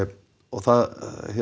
það